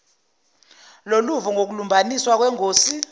loluvo ngokulumbaniswa kwengosi